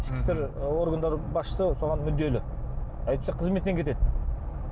ішкі істер органдары басшысы соған мүдделі әйтпесе қызметінен кетеді